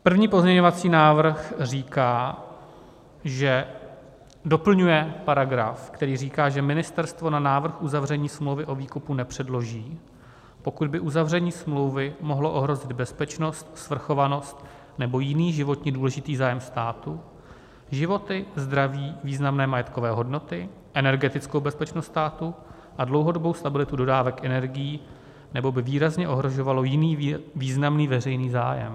První pozměňovací návrh říká, že doplňuje paragraf, který říká, že ministerstvo na návrh uzavření smlouvy o výkupu nepředloží, pokud by uzavření smlouvy mohlo ohrozit bezpečnost, svrchovanost nebo jiný životně důležitý zájem státu, životy, zdraví, významné majetkové hodnoty, energetickou bezpečnost státu a dlouhodobou stabilitu dodávek energií nebo by výrazně ohrožovalo jiný významný veřejný zájem.